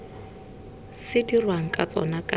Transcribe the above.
se dirweng ka tsona ka